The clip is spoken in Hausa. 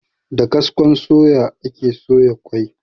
Da kaskon suya ake soya ƙwai.